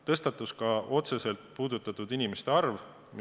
Tõstatus otseselt puudutatud inimeste arv.